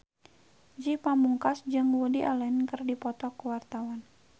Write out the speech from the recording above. Ge Pamungkas jeung Woody Allen keur dipoto ku wartawan